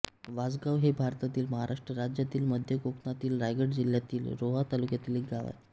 वासगाव हे भारतातील महाराष्ट्र राज्यातील मध्य कोकणातील रायगड जिल्ह्यातील रोहा तालुक्यातील एक गाव आहे